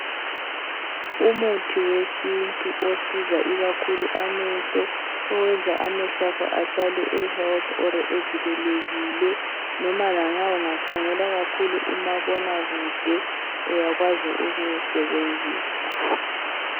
Umuthi wesintu ikakhulu osiza amehlo. Owenza amehlwakho ahlale ehealthy oro evikelekile. Noma lanxa ungakhangela kakhulu umabona kude uyakwazi ukuwusebenzisa.